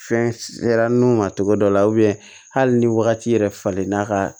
Fɛn sera nun ma togo dɔ la hali ni wagati yɛrɛ falenn'a ka